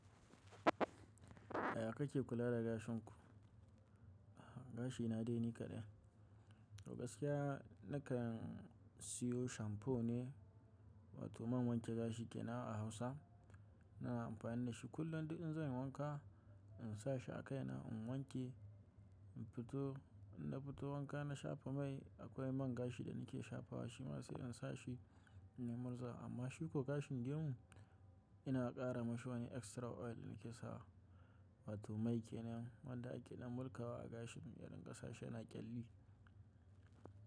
Yaya kake kula da gashin ku? Gashi na dai ni kaɗai. To gaskiya na kan siyo shampoo ne, ma to mam wanke gashi kenan a Hausa. Ina amfani da shi kullum duk in zan yi wanka, in sa shi a kai na, in wanke, in fito. In na fito wanka na shafa mai. Akwai man gashi da nake shafa wa, shi ma sai in sa shi in yi murza. Amma shiko gashin gemu, ina ƙara mashi wani extra oil da nake sawa. Wa to mai kenan, wanda ake na mulƙawa a gashin rinƙasa shi ya na ƙyalli.